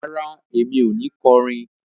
Rárá, èmi o ni kọrin